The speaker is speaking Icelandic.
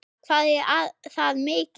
Linda: Hvað er það mikið?